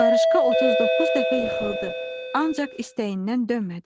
Qarışqa 39 dəfə yıxıldı, ancaq istəyindən dönmədi.